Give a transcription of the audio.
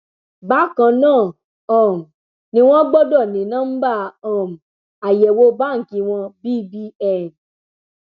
bákan náà um ni wọn gbọdọ ní nọmba um àyẹwò báǹkì wọn bbn